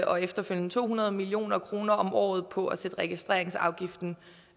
og efterfølgende to hundrede million kroner om året på at sætte registreringsafgiften